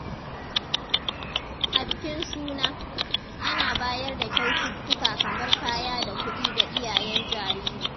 A bikin suna, ana bayar da kyaututtuka kamar kaya da kudi ga iyayen jariri.